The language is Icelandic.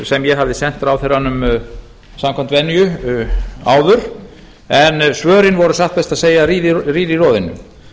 sem ég hafði sent ráðherranum áður samkvæmt venju en svörin voru satt best að segja rýr í roðinu